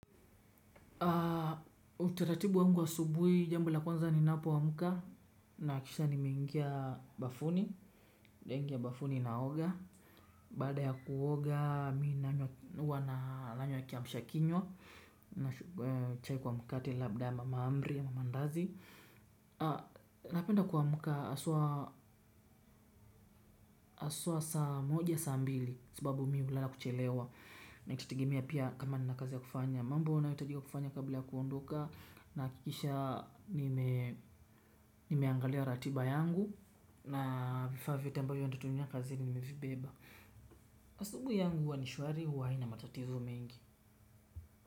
Uteratibu wangu wa asubuhi jambo la kwanza ni napoamka nahakisha nimeingia bafuni. Nimeingia bafuni naoga. Baada ya kuoga mimi huwa nanywa kiamsha kinywa. Na chai kwa mkate labda mahamri mandazi. Napenda kuamka haswa haswa saa moja saa mbili kwa sababu mimi hulala kuchelewa na itategemea pia kama nina kazi ya kufanya. Mambo yanayohitajika kufanya kabla ya kuondoka. Nahakikisha nimeangalia ratiba yangu. Na vifaa vyote ambavyo nitatumia kazini nimevibeba. Asubuhi yangu huwa ni shwari hua haina matatizo mengi.